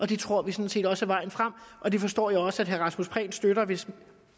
det tror vi sådan set også er vejen frem og det forstår jeg også at herre rasmus prehn støtter hvis